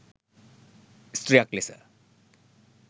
ස්ත්‍රියක් ලෙස